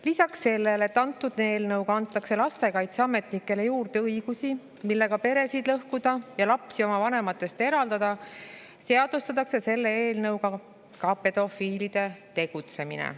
Lisaks sellele, et eelnõuga antakse lastekaitseametnikele juurde õigusi, millega peresid lõhkuda ja lapsi oma vanematest eraldada, seadustatakse selle eelnõuga ka pedofiilide tegutsemine.